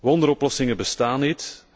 Wonderoplossingen bestaan niet.